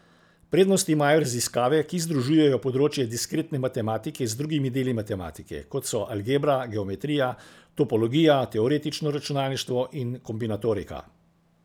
Prednost imajo raziskave, ki združujejo področja diskretne matematike z drugimi deli matematike, kot so algebra, geometrija, topologija, teoretično računalništvo in kombinatorika.